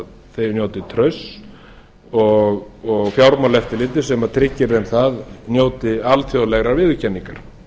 þau njóti trausts og fjármálaeftirlitið sem tryggir þeim það njóti alþjóðlegrar viðurkenningar